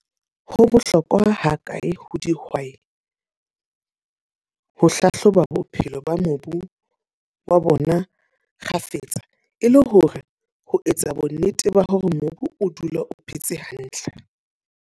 Ho bohlokwa ha kae ho dihwai, ho hlahloba bophelo ba mobu wa bona kgafetsa. E le hore ho etsa bo nnete ba hore mobu o dula o phetse hantle.